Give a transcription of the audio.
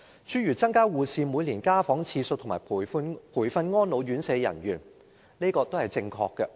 諸如增加護士每年家訪次數和培訓安老院舍人員等措施，也是正確的。